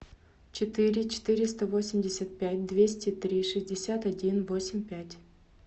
четыре четыреста восемьдесят пять двести три шестьдесят один восемь пять